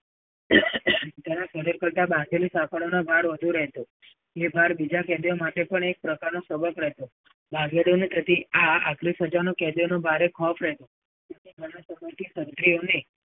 તેના શરીર પર બાંધેલી સાકણોનો ભાર બધુ રહેતો. એ ભાર બીજા બધા કેદીઓ માટે પણ એક સબક હતો. આટલી સજાનો કેદીઓને ખૌફ રહેતો. કેટલા સમયથી તંત્રીઓને